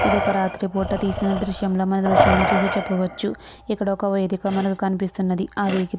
ఇదొక రాత్రిపూట తీసిన దృశ్యంలా మన మీ దృశ్యంలో చూసి చెప్పవచ్చు. ఇక్కడ ఒక వేదిక కనిపిస్తున్నది. ఆ వేది --